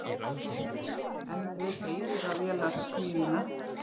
Enn við eilífðarvélarsmíðina?